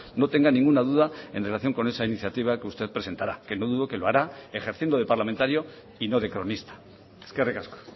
no tenga ninguna duda en relación con esa iniciativa que usted presentará que no dudo que lo hará ejerciendo de parlamentario y no de cronista eskerrik asko